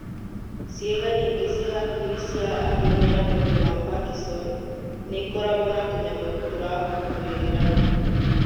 Ciĩga nyingĩ cia hakiri cia andũ mena mũrimu wa Parkinson nĩikoragwo na tũnyamu tũrakũrĩrĩra